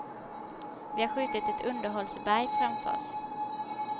Vi har skjutit ett underhållsberg framför oss.